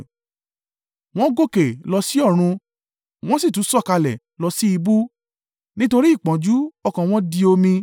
Wọ́n gòkè lọ sí ọ̀run wọ́n sì tún sọ̀kalẹ̀ lọ sí ibú: nítorí ìpọ́njú, ọkàn wọn di omi.